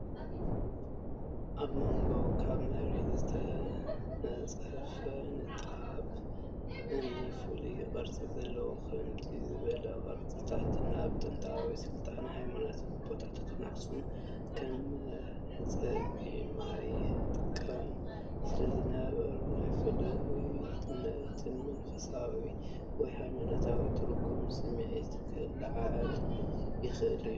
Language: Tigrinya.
ኣብ መንጎ ኣብ መሬት ዝተነጽፈ ንጣብ እምኒ ፍሉይ ቅርጺ ዘለዎ፣ ከምዚኦም ዝበሉ ቅርጽታት ኣብ ጥንታውያን ስልጣነታትን ሃይማኖታዊ ቦታታትን (ኣኽሱም) ከም መሕጸቢ ማይ ይጥቀሙ ስለዝነበሩ፡ ናይ ፍሉይነትን መንፈሳዊ ወይ ሃይማኖታዊ ትርጉምን ስምዒት ከለዓዕል ይኽእል እዩ።